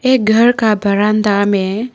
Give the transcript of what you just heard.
एक घर का बरांदा में--